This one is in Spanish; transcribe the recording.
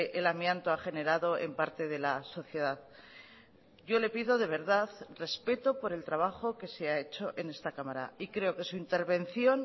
el amianto ha generado en parte de la sociedad yo le pido de verdad respeto por el trabajo que se ha hecho en esta cámara y creo que su intervención